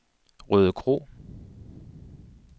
Rødekro